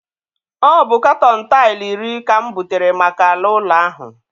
Ọ bụ katọn taịlụ iri ka m butere maka ala ụlọ ahụ.